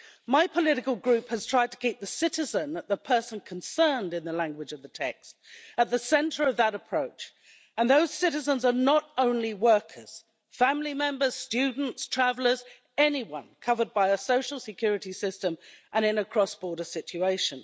My political group has tried to keep the citizen as the person concerned in the language of the text at the centre of that approach, and those citizens are not only workers, family members, students, travellers, but anyone covered by a social security system and in a cross-border situation.